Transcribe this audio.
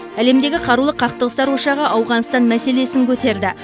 әлемдегі қарулы қақтығыстар ошағы ауғанстан мәселесін көтерді